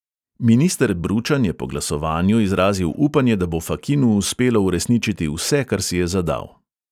Minister bručan je po glasovanju izrazil upanje, da bo fakinu uspelo uresničiti vse, kar si je zadal.